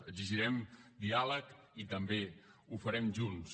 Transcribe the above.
exigirem diàleg i també ho farem junts